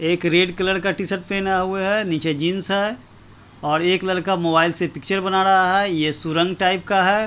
एक red colour का t shirt पहना हुआ है नीचे जींस है और एक लड़का मोबाइल से पिक्चर बना रहा है ये सुरंग टाइप का है।